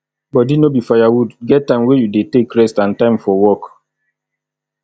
body no be fire wood get time wey you dey take rest and time for work